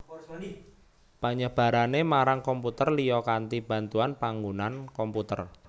Penyebarané marang komputer liya kanthi bantuan panggunan komputer